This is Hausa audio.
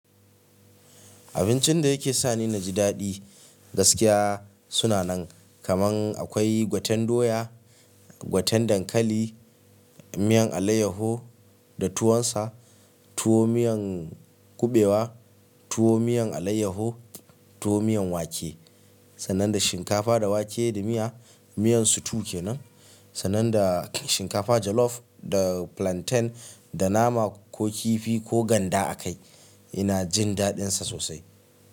Abincin da yake sa ni na ji daɗi gaskiya suna nan. Kaman akwai gwaten doya, gwaten dankali, miyan alayyaho da tuwon sa, tuwo miyan kuɓewa, tuwo miyan alayyaho, tuwo miyan wake. Sannan da shinkafa da wake da miya. Miyan su tu ke nan, sannan da shinkafa jalof da plantain da nama ko kifi ko ganda a kai. Ina jin daɗin sa sosai.